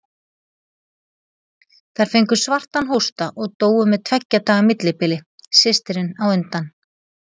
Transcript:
Þær fengu svartan hósta og dóu með tveggja daga millibili, systirin á undan.